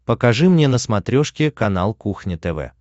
покажи мне на смотрешке канал кухня тв